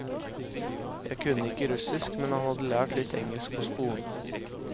Jeg kunne ikke russisk, men han hadde lært litt engelsk på skolen.